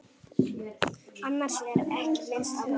Annars er ekki minnst á hana.